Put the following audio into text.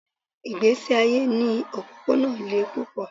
Ìgbésí ayé ní òpópónà le púpọ̀.